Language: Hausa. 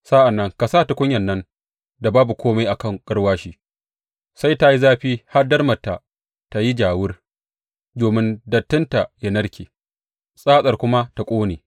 Sa’an nan ka sa tukunyan nan da babu kome a kan garwashi sai ta yi zafi har darmarta ta yi ja wur domin dattinta ya narke tsatsarta kuma ta ƙone.